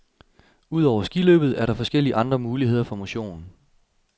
Udover skiløbet er der forskellige andre muligheder for motion.